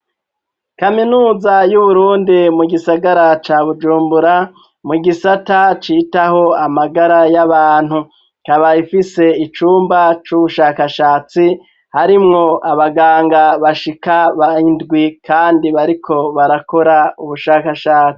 Kaminuza y'uburundi mu gisagara ca bujumbura mu gisata citaho amagara y'abantu kaba ifise icumba c'ubushakashatsi harimwo abaganga bashika indwi kandi bariko barakora ubushakashatsi.